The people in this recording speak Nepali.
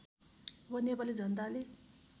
अब नेपाली जनताले